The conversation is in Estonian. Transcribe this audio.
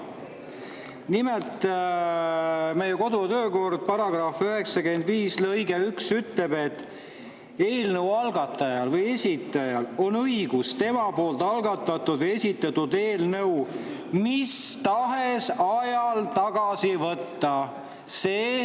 Nimelt, kodu- ja töökorra § 95 lõige 1 ütleb, et eelnõu algatajal või esitajal on õigus tema poolt algatatud või esitatud eelnõu mis tahes ajal tagasi võtta.